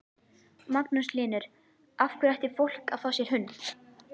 Magnús Hlynur: Af hverju ætti fólk að fá sér hund?